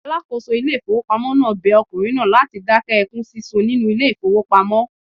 Alákòóso ilé ìfowópamọ́ náà bẹ ọkùnrin náà láti dákẹ́ ẹkún sísun nínú ilé ìfowópamọ́.